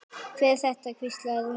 Hver er þetta? hvíslaði Rúna.